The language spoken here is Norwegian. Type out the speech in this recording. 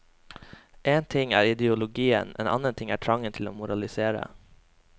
En ting er ideologien, en annen ting er trangen til å moralisere.